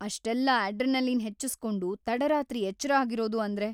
ಅಷ್ಟೆಲ್ಲ ಅಡ್ರೆನಲಿನ್‌ ಹೆಚ್ಚಿಸ್ಕೊಂಡು ತಡರಾತ್ರಿ ಎಚ್ರ ಆಗಿರೋದು ಅಂದ್ರೆ.